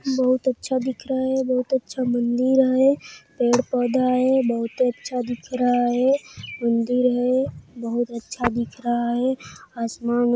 बहुत अच्छा दिख रहा है बहुत अच्छा मंदिर है पेड-़ पौधा है बहुतॆ अच्छा दिख रहा है मंदिर है बहुत अच्छा दिख रहा है आसमान--